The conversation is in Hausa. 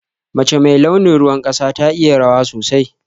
Mace mai launin ruwan ƙasa ta iya rawa sosai.